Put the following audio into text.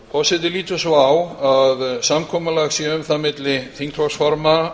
forseti lítur svo á að samkomulag sé um það milli þingflokksformanna